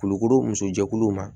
Kulukoro muso jɛkuluw ma